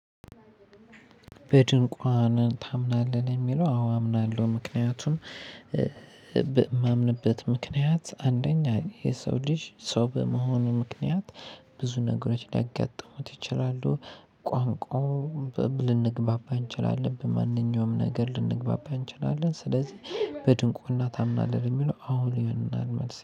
በድንቋን ታምናለህ ለሚለው? አዎ አምናለሁ ምክንያቱን። የማምንበት ምክንያት አንደኛ የሰው ልጅ ሰው በመሆኑ ምክንያት ብዙ ነገሮች ሊያጋጥሙት ይችላሉ። ቋንቋውን ልንግባባ እንችላለን በማንኛውም ነገር ልንግባባ እንችላለን። ስለዚህ በድንቁና ታምናለህ የሚለው? አሁን ይሆንናል መልስ